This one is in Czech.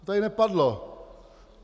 To tady nepadlo.